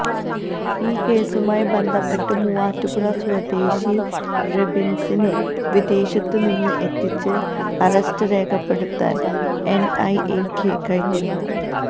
ഈ കേസുമായി ബന്ധപ്പെട്ട് മൂവാറ്റുപുഴ സ്വദേശി റെബിൻസിനെ വിദേശത്തുനിന്ന് എത്തിച്ച് അറസ്റ്റ് രേഖപ്പെടുത്താൻ എൻഐഎയ്ക്ക് കഴിഞ്ഞിരുന്നു